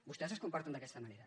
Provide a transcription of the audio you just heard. vostès es comporten d’aquesta manera